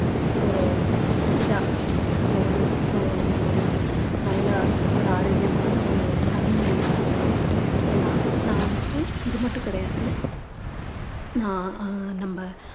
ஒரு இதா நம்ம வந்து ஒ~ ஒரு நல்ல ஒரு ஆரோக்கியமான ஒரு தலைமுறையை வளர்க்கலாம் ஏன்னா நான் வந்துட்டு இது மட்டும் கிடையாது நான் நம்ம